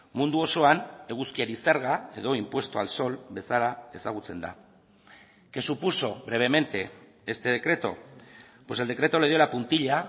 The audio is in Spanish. mundu osoan eguzkiari zerga edo impuesto al sol bezala ezagutzen da qué supuso brevemente este decreto pues el decreto le dio la puntilla